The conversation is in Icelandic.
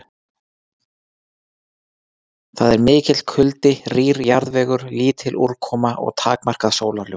Þar er mikill kuldi, rýr jarðvegur, lítil úrkoma og takmarkað sólarljós.